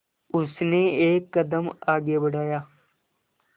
उसने एक कदम आगे बढ़ाया